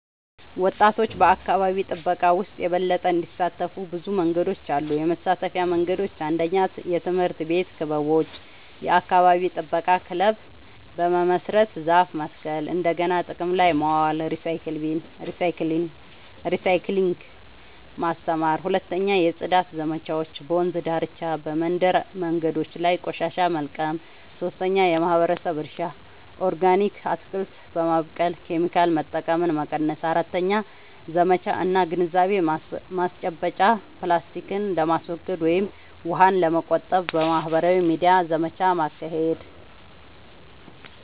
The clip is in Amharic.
ወጣቶች በአካባቢ ጥበቃ ውስጥ የበለጠ እንዲሳተፉ ብዙ መንገዶች አሉ -የመሳተፊያ መንገዶች፦ 1. የትምህርት ቤት ክበቦች – የአካባቢ ጥበቃ ክለብ በመመስረት ዛፍ መትከል፣ እንደገና ጥቅም ላይ ማዋል (recycling) ማስተማር። 2. የጽዳት ዘመቻዎች – በወንዝ ዳርቻ፣ በመንደር መንገዶች ላይ ቆሻሻ መልቀም። 3. የማህበረሰብ እርሻ – ኦርጋኒክ አትክልት በማብቀል ኬሚካል መጠቀምን መቀነስ። 4. ዘመቻ እና ግንዛቤ ማስጨበጫ – ፕላስቲክን ለማስወገድ ወይም ውሃን ለመቆጠብ በማህበራዊ ሚዲያ ዘመቻ ማካሄድ።